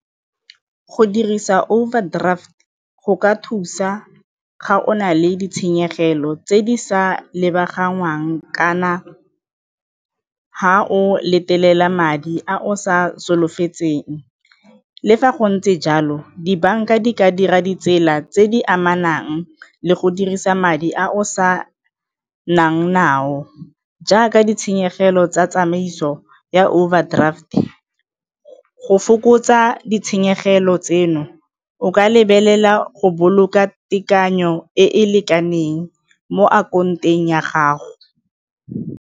Go dirisa overdraft go ka thusa ga o na le ditshenyegelo tse di sa lebaganngwang kana ga o madi a o sa solofetsweng. Le fa go ntse jalo, dibanka di ka dira ditsela tse di amanang le go dirisa madi a o sa nang nao jaaka ditshenyegelo tsa tsamaiso ya o overdraft e go fokotsa ditshenyegelo tseno o ka lebelela go boloka tekanyo e e lekaneng mo ya gago.